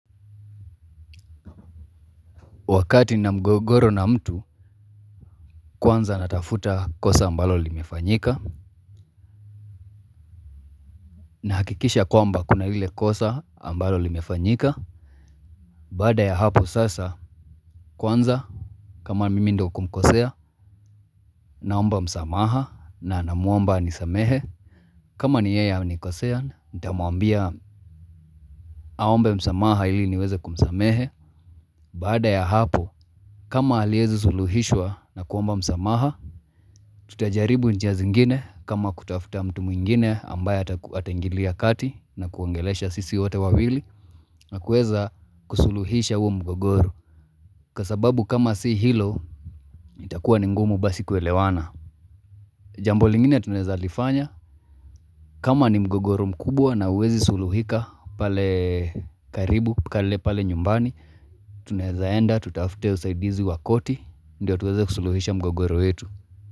Wakati nina mgogoro na mtu, kwanza natafuta kosa ambalo limefanyika na hakikisha kwamba kuna ile kosa ambalo limefanyika Baada ya hapo sasa, kwanza kama mimi ndo kumkosea, naomba msamaha na namwomba anisamehe kama ni yeye amenikosea, nitamwambia aombe msamaha ili niweze kumsamehe Baada ya hapo, kama aliezi suluhishwa na kuomba msamaha tutajaribu njia zingine kama kutafuta mtu mwingine ambaye ataingilia kati na kuongelesha sisi wote wawili na kueza kusuluhisha huu mgogoro kwa sababu kama si hilo itakuwa ni ngumu basi kuelewana jambo lingine tunaeza lifanya kama ni mgogoro mkubwa na huwezi suluhika pale karibu pale nyumbani tunaeza enda tutafute usaidizi wa koti ndio tuweze kusuluhisha mgogoro itu.